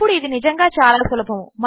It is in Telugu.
ఇప్పుడు ఇది నిజంగా చాలా సులభము